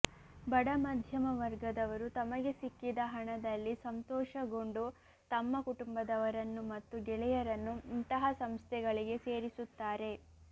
ಬಡ ಮಧ್ಯಮ ವರ್ಗದವರು ತಮಗೆ ಸಿಕ್ಕಿದ ಹಣದಲ್ಲಿ ಸಂತೋಷಗೊಂಡು ತಮ್ಮ ಕುಟುಂಬದವರನ್ನು ಮತ್ತು ಗೆಳೆಯರನ್ನು ಇಂತಹ ಸಂಸ್ಥೆಗಳಿಗೆ ಸೇರಿಸುತ್ತಾರೆ